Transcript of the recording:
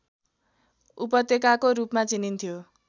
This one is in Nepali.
उपत्यकाको रूपमा चिनिन्थ्यो